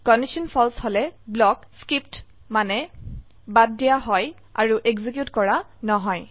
condition ফালছে হলে block skipped মানে বাদ দিয়া হয় আৰু এক্সিকিউট কৰা নহয়